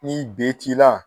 Ni B t'i la